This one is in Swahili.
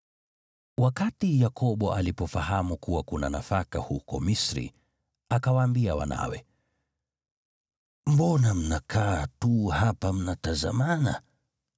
Wakati Yakobo alipofahamu kuwa kuna nafaka huko Misri, akawaambia wanawe, “Mbona mnakaa tu hapa mnatazamana?”